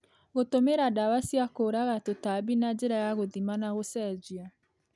gũtũmĩra ndawa cia kũũraga tũtambi na njĩra ya gũthima na gũcenjia,